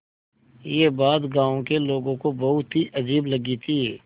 यह बात गाँव के लोगों को बहुत ही अजीब लगी थी